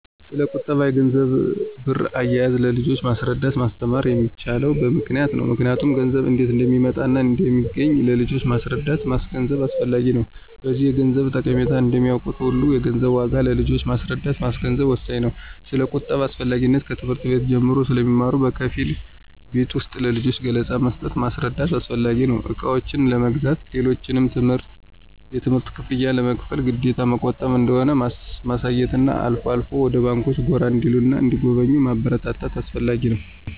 ስለቁጠባ፣ የገንዘብና ብር አያያዝ ለልጆች ማስረዳትና ማስተማር የሚቻለው በምክንያት ነው ምክንያቱም ገንዘብ እንዴት እንደሚመጣና እንደሚገኝ ለልጆች ማስረዳትና ማስገንዘብ አስፈላጊ ነው። በዚህም የገንዘብን ጠቀሜታ እንደሚያውቁት ሁሉ የገንዘብን ዋጋ ለልጆች ማስረዳትና ማስገንዘብ ወሳኝ ነው። ስለቁጠባ አስፈላጊነት ከትምህርት ቤት ጀምሮ ስለሚማሩ በከፊል ቤት ውስጥም ለልጆች ገለፃ መስጠትና ማስረዳት አስፈላጊ ነው። እቃዎችን ለመግዛት፣ ሌሎችንም የትምህርት ክፍያ ለመክፈል ግዴታ መቆጠብ እንደሆነ ማሳየትና አልፎ አልፎም ወደ ባንኮች ጎራ እንዲሉና እንዲጎበኙ ማበረታታት አስፈላጊ ነው።